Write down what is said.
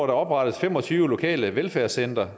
der oprettes fem og tyve lokale velfærdscentre